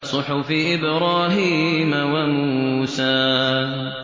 صُحُفِ إِبْرَاهِيمَ وَمُوسَىٰ